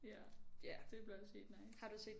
Ja det bliver også sygt nice